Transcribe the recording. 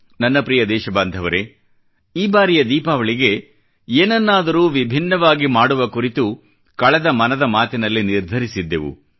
ನನ್ನ ಪ್ರಿಯ ದೇಶ ಬಾಂಧವರೇ ಈ ಬಾರಿಯ ದೀಪಾವಳಿಗೆ ಏನನ್ನಾದರೂ ವಿಭಿನ್ನವಾಗಿ ಮಾಡುವ ಕುರಿತು ಕಳೆದ ಮನದ ಮಾತಿನಲ್ಲಿ ನಿರ್ಧರಿಸಿದ್ದೆವು